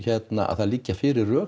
það liggur fyrir